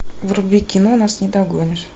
вруби кино нас не догонишь